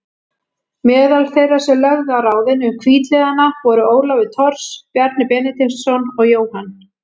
Meðal þeirra sem lögðu á ráðin um hvítliðana voru Ólafur Thors, Bjarni Benediktsson og Jóhann